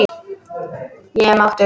Ég er máttug.